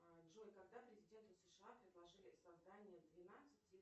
джой когда президенты сша предложили создание двенадцати